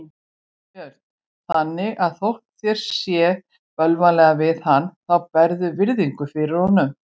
Björn: Þannig að þótt þér sé bölvanlega við hann þá berðu virðingu fyrir honum?